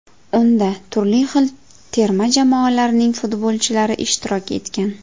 Unda turli xil terma jamoalarning futbolchilari ishtirok etgan.